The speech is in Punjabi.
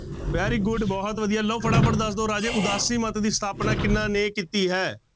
Very good ਬਹੁਤ ਵਧੀਆ ਲਓ ਫਟਾਫਟ ਦੱਸ ਦਓ ਰਾਜੇ ਉਦਾਸੀ ਮੱਤ ਦੀ ਸਥਾਪਨਾ ਕਿਹਨਾਂ ਨੇ ਕੀਤੀ ਹੈ।